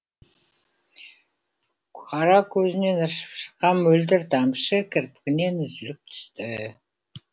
қара көзінен ыршып шыққан мөлдір тамшы кірпігінен үзіліп түсті